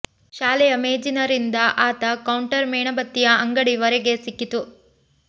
ಶಾಲೆಯ ಮೇಜಿನ ರಿಂದ ಆತ ಕೌಂಟರ್ ಮೇಣಬತ್ತಿಯ ಅಂಗಡಿ ವರೆಗೆ ಸಿಕ್ಕಿತು